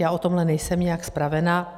Já o tomhle nejsem nijak spravena.